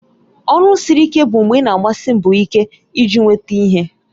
Ọrụ siri ike bụ mgbe ị na-agbasi mbọ ike iji nweta ihe